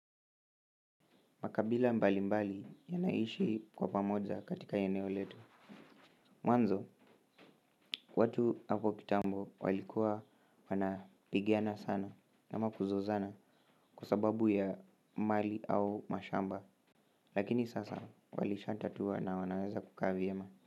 Makabila mbali mbali yanaishi kwa pamoja katika eneo letu. Mwanzo, watu hapo kitambo walikuwa wanapigana sana na ama kuzozana kwa sababu ya mali au mashamba. Lakini sasa walisha tatua na wanaweza kuka vyema.